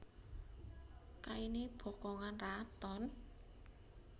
Kainé bokongan raton